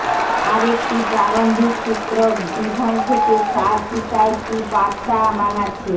আরেকটি প্রারম্ভিক সূত্র ডিভন থেকে তার পিতা একটি বাতা বানাচ্ছে